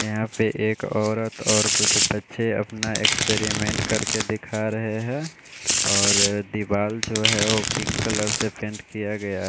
यहाँ पे एक औरत और कुछ बच्चे अपना एक्सपेरिमेंट करके दिखा रहे हैं और दीवाल जो है वो पिंक कलर से पेंट किया गया--